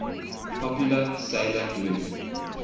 popular 'sailor moon